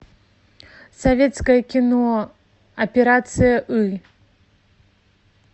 советское кино операция ы